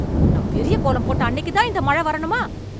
நான் பெரிய கோலம் போட்ட அன்னைக்கு தான் இந்த மழை வரணுமா?